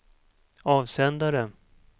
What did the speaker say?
avsändare